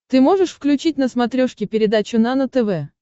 ты можешь включить на смотрешке передачу нано тв